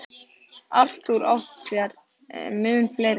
Arthur átti sér mun fleiri.